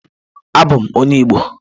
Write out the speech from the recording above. Abum onye Igbo.